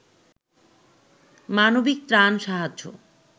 মানবিক ত্রাণ সাহায্য